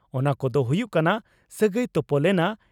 ᱚᱱᱟ ᱠᱚᱫᱚ ᱦᱩᱭᱩᱜ ᱠᱟᱱᱟ ᱺᱼ ᱥᱟᱹᱜᱟᱹᱭ ᱛᱚᱯᱚᱞ ᱮᱱᱟ